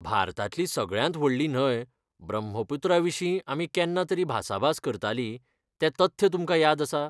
भारतांतली सगळ्यांत व्हडली न्हंय ब्रह्मपुत्रा विशीं आमी केन्ना तरी भासाभास करतालीं तें तथ्य तुमकां याद आसा?